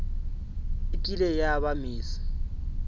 e kile ya ba miss